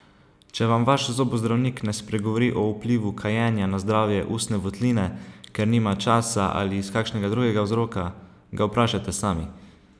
Če vam vaš zobozdravnik ne spregovori o vplivu kajenja na zdravje ustne votline, ker nima časa ali iz kakšnega drugega vzroka, ga vprašajte sami!